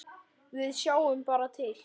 Við sjáum bara til.